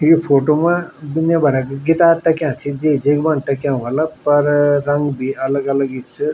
यि फोटो मा दुनिया भरक गिटार टंग्या छिन जेक जेक बानू टंग्या ह्वाला पर रंग भी अलग अलग ही च।